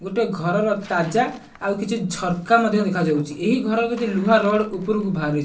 ଗୋଟେ ଘରର ତାଜା ଆଉ କିଛି ଝରକା ମଧ୍ୟ ଦେଖା ଯାଉଚି । ଏହି ଘର ଭିତରେ ଲୁହା ରଡ ଉପରକୁ ଭାରି --